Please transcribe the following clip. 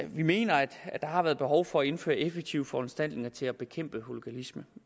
vi mener at der har været behov for at indføre effektive foranstaltninger til at bekæmpe hooliganisme